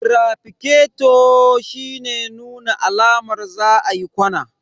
Amfanin wutan traficato shine nuna alamar za a yi ƙwana.